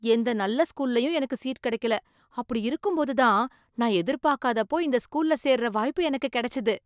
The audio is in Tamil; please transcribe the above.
எந்த நல்ல ஸ்கூல்லையும் எனக்கு சீட் கிடைக்கல, அப்படி இருக்கும்போது தான் நான் எதிர்பாக்காதப்போ இந்த ஸ்கூல்ல சேருற வாய்ப்பு எனக்கு கிடைச்சுது